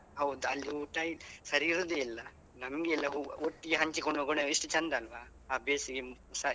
ಹೌದು ಅಲ್ಲಿ ಊಟ ಸರಿ ಇರುದೇ ಇಲ್ಲ. ನಮ್ಗೆಲ್ಲಾ ಒಟ್ಟಿಗೆ ಹಂಚಿಕೊಂಡು ಹೋಗೋಣ ಎಷ್ಟು ಚಂದ ಅಲ್ವಾ. ಆ ಬೇಸಿಗೆಸ.